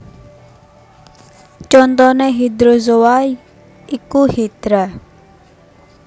Contoné hydrozoa iku Hydra